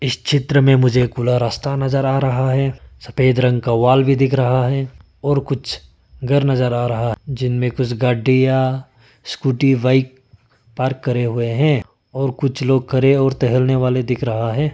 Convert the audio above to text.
चित्र में मुझे खुला रास्ता नजर आ रहा है सफेद रंग वॉल भी दिख रहा है और कुछ घर नजर आ रहा जिनमें कुछ गड्डियां स्कूटी बाइक पार्क करे हुए हैं और कुछ लोग खड़े और टहलने वाले दिख रहा है।